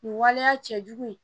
Nin waleya cɛ jugu in